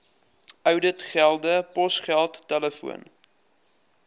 ouditgelde posgeld telefoon